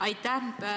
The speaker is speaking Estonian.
Aitäh!